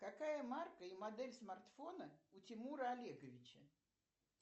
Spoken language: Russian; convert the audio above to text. какая марка и модель смартфона у тимура олеговича